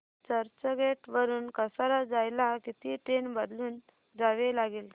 चर्चगेट वरून कसारा जायला किती ट्रेन बदलून जावे लागेल